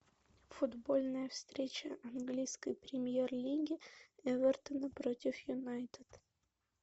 футбольная встреча английской премьер лиги эвертона против юнайтед